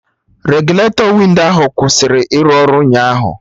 Regụletọ windo ahụ kwụsịrị ịrụ ọrụ ụnyaahụ